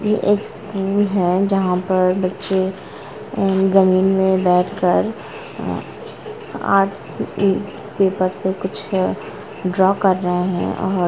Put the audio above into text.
यह एक स्कूल है जहां पर बच्चे जमीन में बैठकर आर्ट्स ऊपर से कुछ ड्रा कर रहे हैं। और--